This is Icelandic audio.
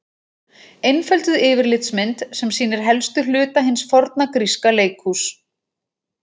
Einfölduð yfirlitsmynd sem sýnir helstu hluta hins forna gríska leikhúss.